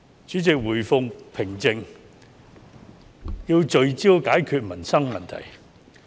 主席，社會回復平靜，便要聚焦解決民生問題。